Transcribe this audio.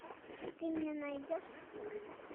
ты мне найдешь спорт